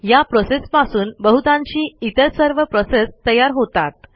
या प्रोसेसपासून बहुतांशी इतर सर्व प्रोसेस तयार होतात